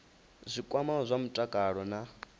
zwi kwamaho zwa mutakalo na